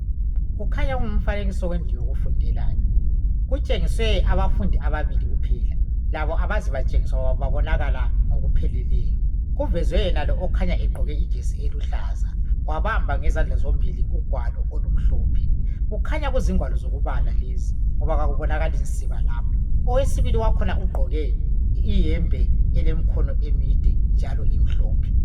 Kukhanya kungumfanekiso wendlu yokufundela le , kutshengiswe abafundi ababili kuphela , labo akaze batshengiswa babonakala ngokupheleleyo , kuvezwe lalo okhanya egqoke ijesi eluhlaza wabamba ngezandla ezimbili ugwalo olumhlophe , kukhanya kuzingwalo zokubala lezi ngoba kakubonakali siba lapho , owesibili wakhona ugqoke iyembe elemkhono emide njalo imhlophe